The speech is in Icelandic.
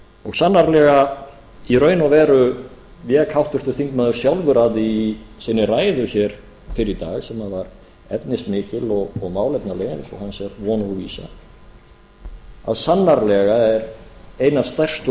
og sannarlega í raun og veru vék háttvirtur þingmaður sjálfur að því í sinni ræðu hér fyrr í dag sem var efnismikil og málefnaleg eins og hans er von og vísa að sannarlega er ein af stærstu